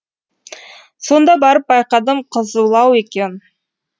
сонда барып байқадым қызулау екен